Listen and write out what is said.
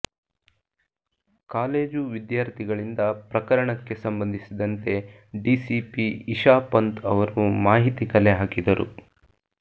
college ವಿದ್ಯಾರ್ಥಿಗಳಿಂದ ಪ್ರಕರಣಕ್ಕೆ ಸಂಬಂಧಿಸಿದಂತೆ ಡಿಸಿಪಿ ಇಶಾ ಪಂತ್ ಅವರು ಮಾಹಿತಿ ಕಲೆ ಹಾಕಿದರು